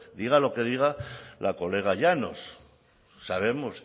diga lo que diga la colega llanos sabemos